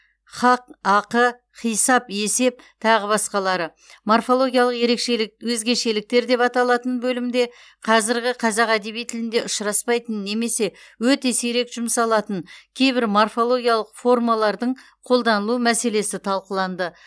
хақ ақы хисап есеп тағы басқалары морфологиялық өзгешеліктер деп аталатын бөлімде қазіргі қазақ әдеби тілінде ұшыраспайтын немесе өте сирек жұмсалатын кейбір морфологиялық формалардың қолданылу мәселесі талқыланды